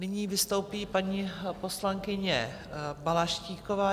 Nyní vystoupí paní poslankyně Balaštíková.